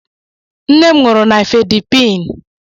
Nne m ṅụrụ Nifedipin.